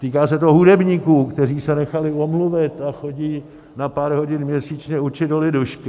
Týká se to hudebníků, kteří se nechali umluvit a chodí na pár hodin měsíčně učit do lidušky.